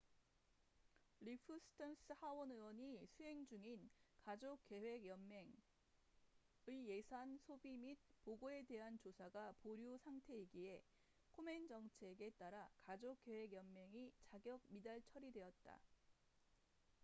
리프 스턴스cliff stearns 하원 의원이 수행 중인 가족계획 연맹planned parenthood의 예산 소비 및 보고에 대한 조사가 보류 상태이기에 코멘 정책komen's policy에 따라 가족계획 연맹이 자격 미달 처리되었다